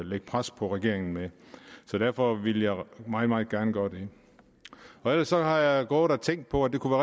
lægge pres på regeringen med så derfor ville jeg meget meget gerne gøre det ellers har jeg gået og tænkt på at det kunne